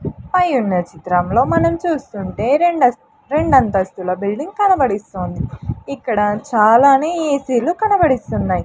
పై ఉన్న చిత్రంలో మనం చూస్తుంటే రెండంతస్తుల బిల్డింగ్ కనబడిస్తుంది ఇక్కడ చాలానే ఏ సి లు కనబడిస్తున్నాయ్.